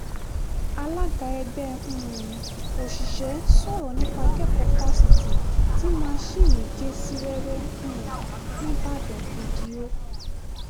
alága ẹgbẹ́ um òṣìṣẹ́ sọ̀rọ̀ nípa akẹ́kọ̀ọ́ fásitì ti masinni gé sí wẹ́wẹ́ um nìbàdàn fídíò